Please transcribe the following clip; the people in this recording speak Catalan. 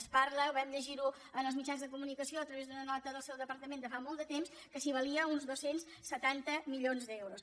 es parla ho vam llegir en els mitjans de comunicació a través d’una nota del seu departament de fa molt de temps que si valia uns dos cents i setanta milions d’euros